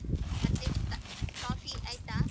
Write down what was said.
ಮತ್ತೆ ತ~ coffee ಆಯ್ತಾ?